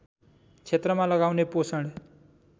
क्षेत्रमा लगाउने पोषण